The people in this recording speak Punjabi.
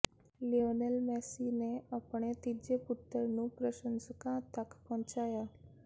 ਲਿਓਨਲ ਮੇਸੀ ਨੇ ਆਪਣੇ ਤੀਜੇ ਪੁੱਤਰ ਨੂੰ ਪ੍ਰਸ਼ੰਸਕਾਂ ਤੱਕ ਪਹੁੰਚਾਇਆ